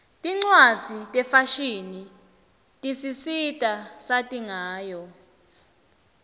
tincwadzi tefashini tisisita sati ngayo